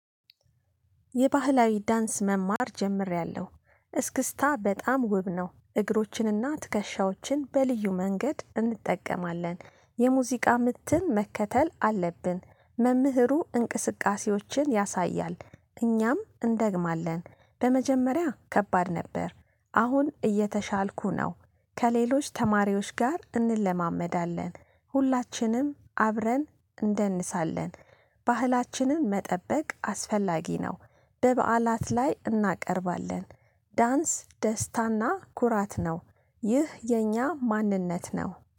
የባህላዊ ዳንስ መማር ጀምሬያለሁ እስክስታ በጣም ውብ ነው። እግሮችንና ትከሻዎችን በልዩ መንገድ እንጠቀማለን። የሙዚቃ ምትን መከተል አለብን። መምህሩ እንቅስቃሴዎችን ያሳያል እኛም እንደግማለን። በመጀመሪያ ከባድ ነበር። አሁን እየተሻልኩ ነው። ከሌሎች ተማሪዎች ጋር እንለማመዳለን። ሁላችንም አብረን እንደንሳለን። ባህላችንን መጠበቅ አስፈላጊ ነው። በበዓላት ላይ እናቀርባለን። ዳንስ ደስታና ኩራት ነው። ይህ የኛ ማንነት ነው